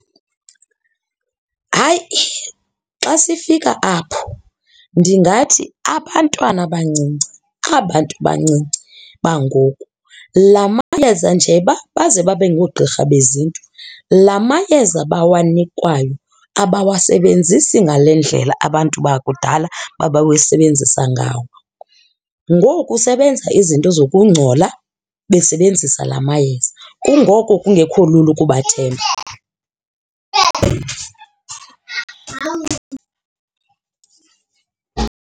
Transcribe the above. Hayi, xa sifika apho ndingathi abantwana abancinci, aba 'ntu bancinci bangoku la mayeza nje baze babe ngoogqirha beziNtu la mayeza bawanikwayo abawasebenzisi ngale ndlela abantu bakudala babewabenzisa ngawo. Ngoku sebenza izinto zokungcola besebenzisa la mayeza kungoko kungekho lula ukubathemba .